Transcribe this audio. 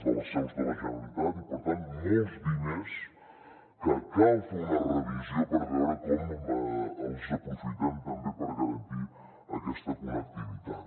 de les seus de la generalitat i per tant molts diners de què cal fer una revisió per veure com els aprofitem també per garantir aquesta connectivitat